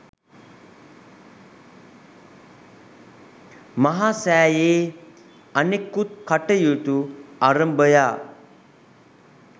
මහා සෑයේ අනෙකුත් කටයුතු අරභයා